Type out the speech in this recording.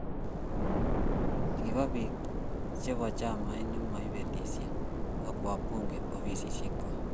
Kiba biik chebo chamait ne maibelis ak wabungek ofisisiekwak.